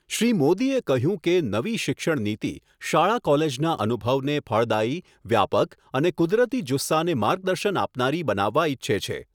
શ્રી મોદીએ કહ્યું કે નવી શિક્ષણ નીતિ શાળા કોલેજના અનુભવને ફળદાયી, વ્યાપક અને કુદરતી જુસ્સાને માર્ગદર્શન આપનારી બનાવવા ઇચ્છે છે.